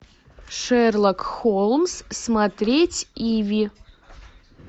шерлок холмс смотреть иви